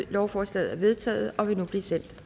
lovforslaget er vedtaget og vil nu blive sendt